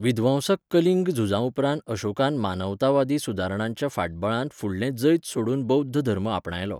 विध्वंसक कलिंग झुजा उपरांत अशोकान मानवतावादी सुदारणांच्या फाटबळांत फुडलें जैत सोडून बौध्द धर्म आपणायलो.